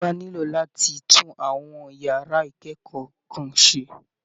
Ìjọba nílò láti tún àwọn yàrá ìkẹ́kọ̀ọ́ kan ṣe